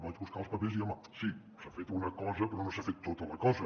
vaig buscar els papers i home sí s’ha fet una cosa però no s’ha fet tota la cosa